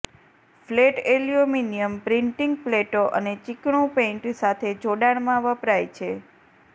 flat aluminium printing પ્લેટો અને ચીકણું પેઇન્ટ સાથે જોડાણમાં વપરાય છે